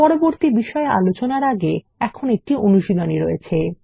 পরবর্তী বিষয় আলোচনার আগে এখন একটি অনুশীলনী রয়েছে